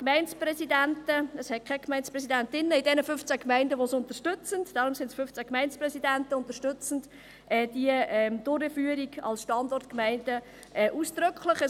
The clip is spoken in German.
Es gibt keine Gemeindepräsidentinnen in diesen 15 Gemeinden, die es unterstützen, deshalb sind es 15 Gemeindepräsidenten, die diese Durchführung als Standortgemeinden ausdrücklich unterstützen.